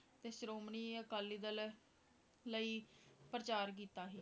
ਤੇ ਸ਼੍ਰੋਮਣੀ ਅਕਾਲੀ ਦਲ ਲਈ ਪ੍ਰਚਾਰ ਕੀਤਾ ਸੀ।